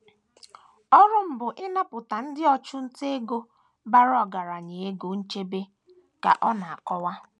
*“ Ọrụ m bụ ịnapụta ndị ọchụnta ego bara ọgaranya ego nchebe, ” ka ọ na - akọwa.